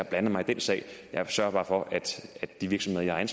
blander mig i den sag jeg sørger bare for at de virksomheder jeg har